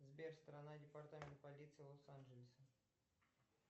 сбер страна департамент полиции лос анджелеса